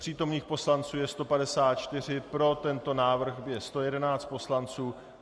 Přítomných poslanců je 154, pro tento návrh je 111 poslanců.